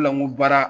O de la n ko baara